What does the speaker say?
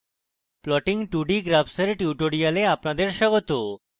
plotting 2d graphs এর spoken tutorial আপনাদের স্বাগত